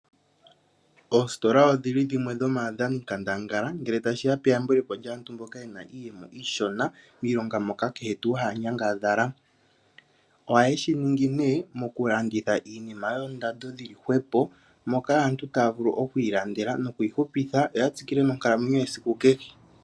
Oostola odhili dhimwe dhomaadhani nkatangala, ngele tashiya peyambulepo lyaantu mboka yena iiyemo iishona, miilonga moka kehe tuu haa nyangadhala. Ohaye shiningi nee, mokulanditha iinima yoondando dhili hwepo, moka aantu taa vulu okwiilandela nokwiihupitha yoya tsikile nonkalamwenyo yesiku kehe.